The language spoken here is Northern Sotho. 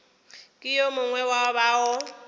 ke yo mongwe wa bao